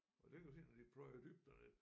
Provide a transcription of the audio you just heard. Og det kan du se når de pløjer dybt derned